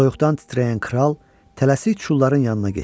Soyuqdan titrəyən kral tələsik çulların yanına getdi.